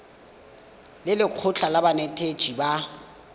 le lekgotlha la banetetshi ba